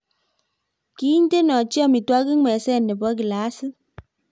kiintenochi amitwogik meset nebo glasit